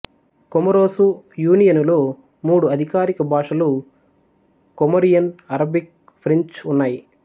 Comoros యూనియనులో మూడు అధికారిక భాషలు కొమొరియన్ అరబిక్ ఫ్రెంచి ఉన్నాయి